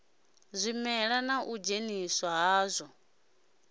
zwimela na u dzheniswa hadzwo